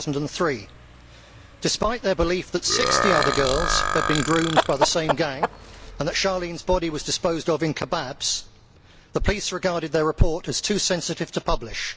2003. Despite their belief that 60 other girls had been groomed by the same gang, and that Charlene's body was disposed of in kebabs, the police regarded their report as too sensitive to publish.